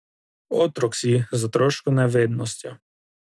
Otrok si, z otroško nevednostjo.